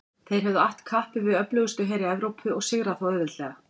Þeir höfðu att kappi við öflugustu heri Evrópu og sigrað þá auðveldlega.